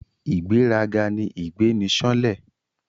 Ìgbéraga ni ìgbéniṣánlẹ̀